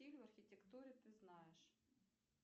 в архитектуре ты знаешь